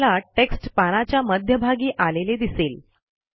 तुम्हाला टेक्स्ट पानाच्या मध्यभागी आलेले दिसेल